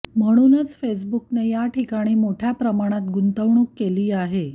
म्हणूनच फेसबुकने याठिकाणी मोठ्या प्रमाणात गुंतवणूक केली आहे